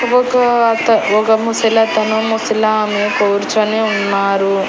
ఒక అత ఒక ముసలతను ముసలామె కూర్చొని ఉన్నారు.